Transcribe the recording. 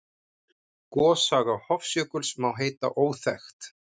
Gossaga Hofsjökuls má heita óþekkt.